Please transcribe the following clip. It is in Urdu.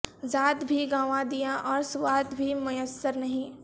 ذات بھی گنوا دیا اور سواد بھی میسر نہیں